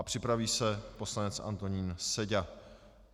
A připraví se poslanec Antonín Seďa.